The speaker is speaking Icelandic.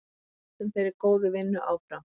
Við höldum þeirri góðu vinnu áfram.